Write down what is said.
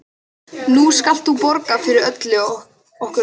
Nú skalt þú borga fyrir okkur öll.